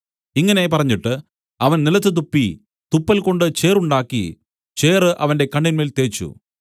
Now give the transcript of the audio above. ഇങ്ങനെ പറഞ്ഞിട്ട് അവൻ നിലത്തു തുപ്പി തുപ്പൽകൊണ്ട് ചേറുണ്ടാക്കി ചേറ് അവന്റെ കണ്ണിന്മേൽ തേച്ചു